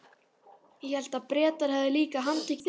Ég hélt að Bretar hefðu líka handtekið þig?